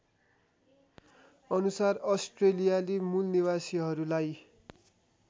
अनुसार अस्ट्रेलियाली मूलनिवासीहरूलाई